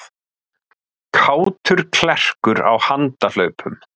Kátur klerkur á handahlaupum